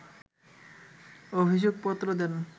অভিযোগপত্র দেন